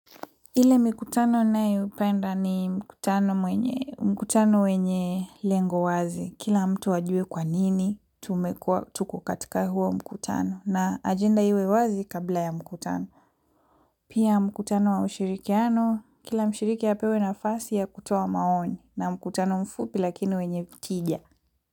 Ile mikutano ninayo ipenda ni mkutano wenye lengo wazi. Kila mtu ajue kwanini tumekuwa tuko katika huo mkutano na ajenda iwe wazi kabla ya mkutano. Pia mkutano wa ushirikiano, kila mshiriki apewe na fasi ya kutoa maoni na mkutano mfupi lakini wenye tija.